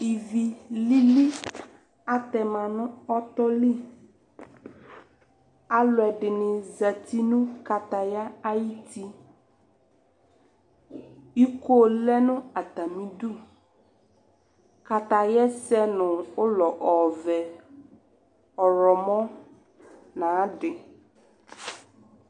ivilili atɛma nu ɔtɔli aluɛdini zati nʋ kataya ayuiti ikoo lɛ nʋ atamidu katayaɛ sɛ nʋ ɔlɔɔ ɔvɛɛ ɔrɔmɔ nadi